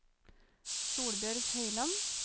Solbjørg Høiland